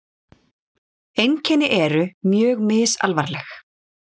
Einkenni eru mjög misalvarleg.